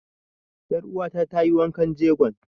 Ƴar uwa ta ta yi wankan jegon.